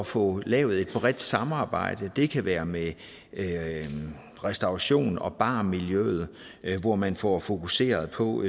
få lavet et bredt samarbejde det kan være med restaurations og barmiljøet hvor man får fokuseret på